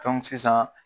sisan